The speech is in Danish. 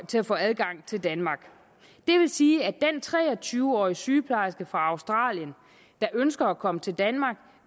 til at få adgang til danmark det vil sige at den tre og tyve årige sygeplejerske fra australien der ønsker at komme til danmark